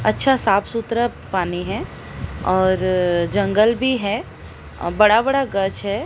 अच्छा साफ सुथरा पानी है और जंगल भी है अ बड़ा बड़ा गछ है।